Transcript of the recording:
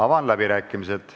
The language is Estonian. Avan läbirääkimised.